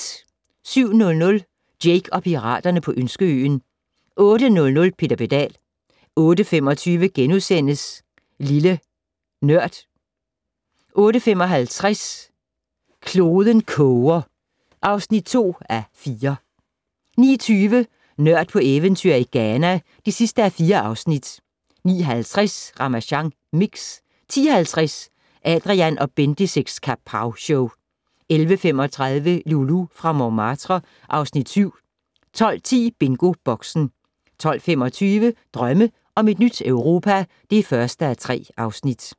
07:00: Jake og piraterne på Ønskeøen 08:00: Peter Pedal 08:25: Lille Nørd * 08:55: Kloden koger (2:4) 09:20: Nørd på eventyr i Ghana (4:4) 09:50: Ramasjang Mix 10:50: Adrian & Bendix' Kapowshow 11:35: Loulou fra Montmartre (Afs. 7) 12:10: BingoBoxen 12:25: Drømme om et nyt Europa (1:3)